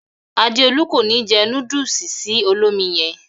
Adéolú ko ni jẹ núdùùsì sì olómi yẹn.